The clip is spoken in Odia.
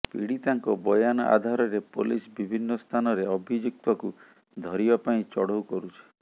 ପୀଡିତାଙ୍କ ବୟାନ ଆଧାରରେ ପୋଲିସ ବିଭିନ୍ନ ସ୍ଥାନରେ ଅଭିଯୁକ୍ତକୁ ଧରିବା ପାଇଁ ଚଢଉ କରୁଛି